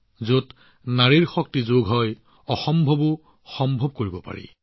যত নাৰী শক্তিৰ শক্তি যোগ কৰা হয় তাত অসম্ভৱকো সম্ভৱ কৰি তুলিব পাৰি